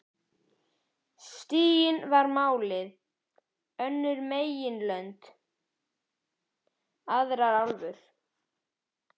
Stiginn var málið, önnur meginlönd, aðrar álfur.